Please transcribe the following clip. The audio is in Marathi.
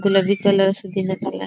गुलाबी कलर असा देण्यात आला आ --